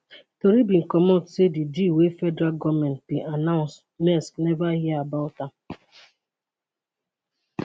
tori bin comot say di deal wey federal goment bin announce maersk neva hear about am